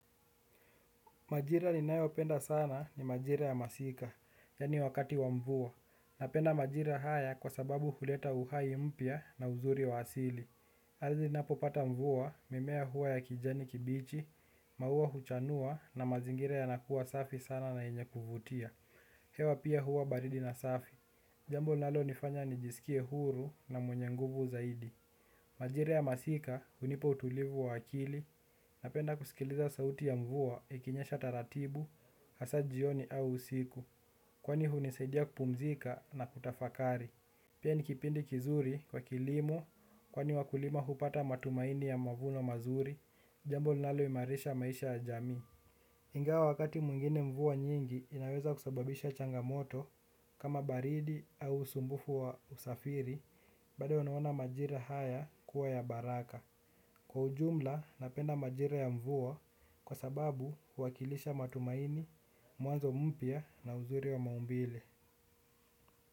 Majira ninayopenda sana ni majira ya masika, yaani wakati wa mvua. Napenda majira haya kwa sababu kuleta uhai mpya na uzuri wa asili. Ardhi inapopata mvua, mimea huwa ya kijani kibichi, maua huchanua na mazingira yanakuwa safi sana na yenye kuvutia. Hewa pia huwa baridi na safi. Jambo linalonifanya nijisikie huru na mwenye nguvu zaidi. Majira ya masika hunipa utulivu wa akili. Napenda kusikiliza sauti ya mvua, ikinyesha taratibu, hasa jioni au usiku kwani hunisaidia kupumzika na kutafakari. Pia ni kipindi kizuri kwa kilimo, kwani wakulima hupata matumaini ya mavuno mazuri. Jambo linaloimarisha maisha ya jamii ingawa wakati mwingine mvua nyingi, inaweza kusababisha changamoto kama baridi au usumbufu wa usafiri, bado unaona majira haya kuwa ya baraka. Kwa ujumla napenda majira ya mvua kwa sababu huwakilisha matumaini, mwanzo mpya na uzuri wa maumbile.